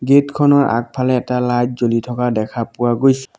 gate খনৰ আগফালে এটা লাইট জ্বলি থকা দেখা পোৱা গৈছ --